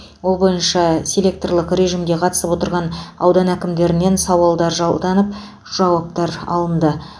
ол бойынша селектрлік режімде қатысып отырған аудан әкімдерінен сауалдар жолданып жауаптар алынды